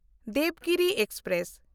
Devagiri express